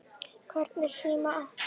Hvernig síma áttu?